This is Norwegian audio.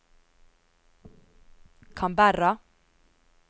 Canberra